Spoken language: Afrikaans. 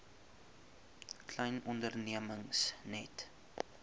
klein ondernemings net